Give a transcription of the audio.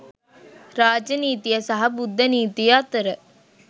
රාජ නීතිය සහ බුද්ධ නීතිය අතර